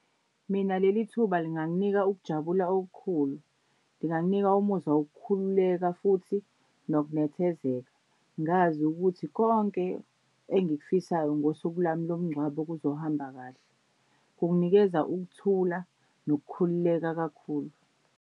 Mina leli thuba linganginika ukujabula okukhulu. Linganginika umuzwa wokukhululeka futhi nokunethezeka ngazi ukuthi konke engikufisayo ngosuku lwami lomngcwabo kuzohamba kahle. Kunginikeza ukuthula nokukhululeka kakhulu.